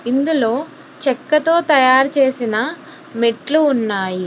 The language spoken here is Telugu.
ఇందులో చెక్కతో తయారు చేసిన మెట్లు ఉన్నాయి.